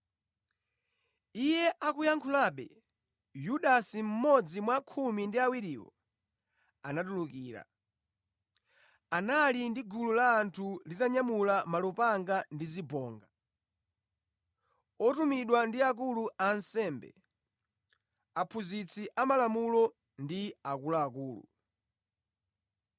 Iye akuyankhulabe, Yudasi, mmodzi mwa khumi ndi awiriwo, anatulukira. Anali ndi gulu la anthu litanyamula malupanga ndi zibonga, otumidwa ndi akulu a ansembe, aphunzitsi amalamulo, ndi akuluakulu.